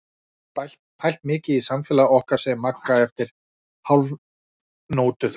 Ég hef pælt mikið í samfélagi okkar, segir Magga eftir hálfnótuþögn.